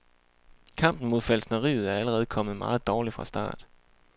Kampen mod falskneriet er allerede kommet meget dårligt fra start.